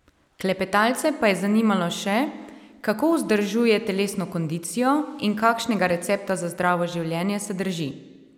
Klepetalce pa je zanimalo še, kako vzdržuje telesno kondicijo in kakšnega recepta za zdravo življenje se drži.